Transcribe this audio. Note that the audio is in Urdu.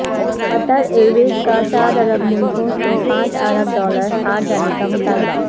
قطر ایئرویز کا چار عرب ملکوں سے پانچ ارب ڈالر ہرجانے کا مطالبہ